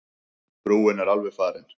Brúin er alveg farin.